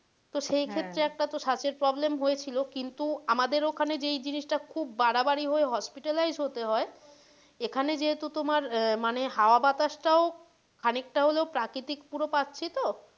তো সেক্ষেত্রে একটা তো শ্বাসের problem হয়েছিলো কিন্তু আমাদের ওখানে যেই জিনিস টা খুব বাড়াবাড়ি হয়ে hospitalized হতে হয় এখানে যেহেতু তোমার আহ মানে হাওয়া বাতাস টাও খানিকটা হলেও প্রাকৃতিক পুরো পাচ্ছি তো,